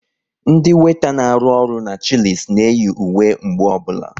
Ndị weeta na arụ ọrụ n'Chilis na eyi uwe mgbe ọbụla